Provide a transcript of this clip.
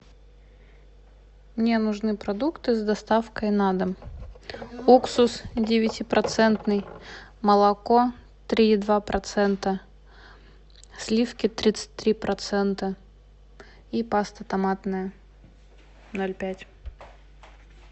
мне нужны продукты с доставкой на дом уксус девятипроцентный молоко три и два процента сливки тридцать три процента и паста томатная ноль пять